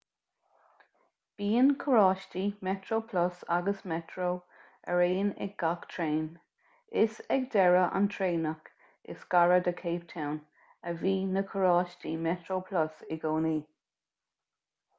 bíonn carráistí metroplus agus metro araon ag gach traein is ag deireadh an traenach is gaire do cape town a bhíonn na carráistí metroplus i gcónaí